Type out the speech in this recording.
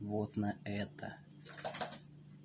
вот на это